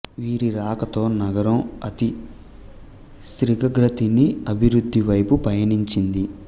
వీరి రాకతో నగరం అతి శీఘ్రగతిని అభివృద్ధి వైపు పయనించింది